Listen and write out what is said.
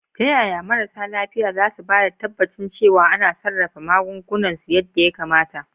Ta yaya marasa lafiya za su ba da tabbacin cewa ana sarrafa magungunan su yadda ya kamata?